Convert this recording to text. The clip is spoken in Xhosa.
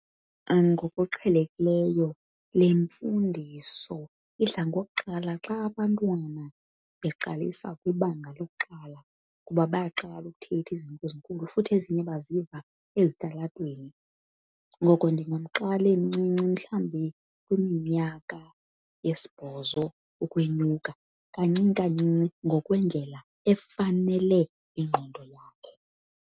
Ngokuqhelekileyo le mfundiso idla ngokuqala xa abantwana beqalisa kwibanga lokuqala, kuba bayaqala ukuthetha izinto ezinkulu futhi ezinye baziva ezitalatweni. Ngoko ndingamqala emncinci mhlawumbi kwiminyaka yesibhozo ukwenyuka, kancinci kancinci ngokwendlela efanele ingqondo yakhe.